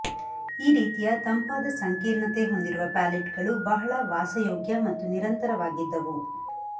ಈ ರೀತಿಯ ತಂಪಾದ ಸಂಕೀರ್ಣತೆ ಹೊಂದಿರುವ ಪ್ಯಾಲೆಟ್ಗಳು ಬಹಳ ವಾಸಯೋಗ್ಯ ಮತ್ತು ನಿರಂತರವಾಗಿದ್ದವು